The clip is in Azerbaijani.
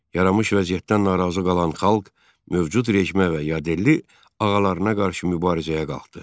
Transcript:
Yaranmış vəziyyətdən narazı qalan xalq mövcud rejimə və yadelli ağalarına qarşı mübarizəyə qalxdı.